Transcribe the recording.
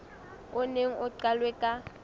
o neng o qalwe ka